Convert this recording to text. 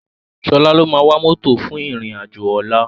Sola ló má wá mòtó fún iron ájó òlá